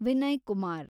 Vinay Kumar